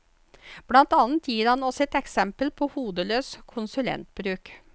Blant annet gir han oss et eksempel på hodeløs konsulentbruk.